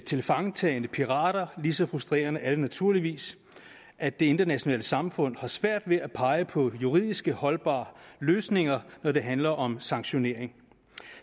tilfangetagelsen af pirater lige så frustrerende er det naturligvis at det internationale samfund har svært ved at pege på juridisk holdbare løsninger når det handler om sanktionering